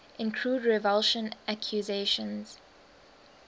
include revulsion accusations